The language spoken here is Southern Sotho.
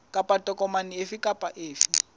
kapa tokomane efe kapa efe